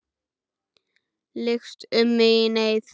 Lykst um mig í neyð.